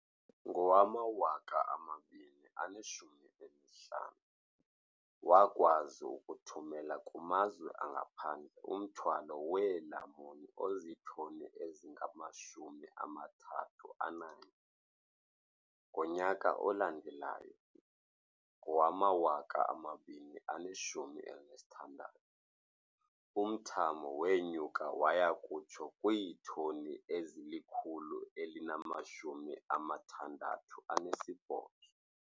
Ngowama-2015, wakwazi ukuthumela kumazwe angaphandle umthwalo weelamuni ozitoni ezingama-31. Ngonyaka olandelayo, ngowama-2016, umthamo wenyuka waya kutsho kwiitoni ezili-168.